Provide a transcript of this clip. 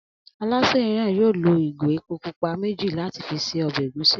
Alásè náà yóò lo ìgò epo pupa méjì láti fi se o̩bè ègúsí